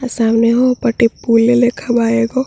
सामने उ पाटी पुल्ल लेखा बा एगो --